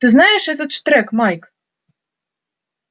ты знаешь этот штрек майк